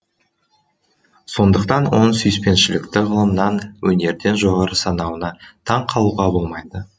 сондықтан оның сүйіспеншілікті ғылымнан өнерден жоғары санауына таң қалуға болмайды